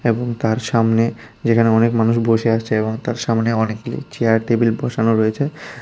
এবং তার সামনে যেখানে অনেক মানুষ বসে আছে এবং তার সামনে অনেকগুলি চেয়ার টেবিল বসানো রয়েছে।